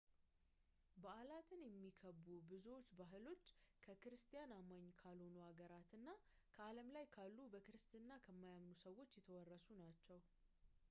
በዓላትን የሚከቡ ብዙዎቹ ባህሎች ከክርስቲያን አማኝ ካልሆኑ አገራት እና ከዓለም ላይ ካሉ በክርስትና ከማያምኑ ሰዎች የተወረሱ ናቸው